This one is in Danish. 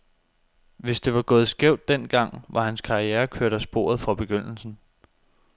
Hvis det var gået skævt den gang, var hans karriere kørt af sporet fra begyndelsen.